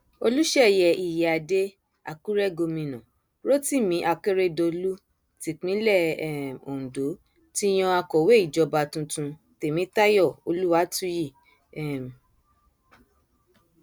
olùṣeyẹ ìyíáde àkúrẹ gómìnà rotimi akérèdọlù tipinlẹ um ondo ti yan akọwé ìjọba tuntun tèmítayọ olúwàtúyí um